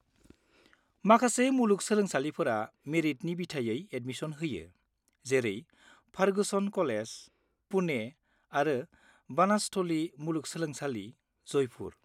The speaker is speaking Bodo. माखासे मुलुग सोलोंसालिफोरा मेरिटनि बिथायै एदमिसन होयो जेरै फारगुसन कलेज, पुने आरो बानासथलि मुलुगसोलोंसालि, जयपुर।